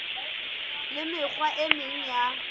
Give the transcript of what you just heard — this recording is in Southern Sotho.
le mekgwa e meng ya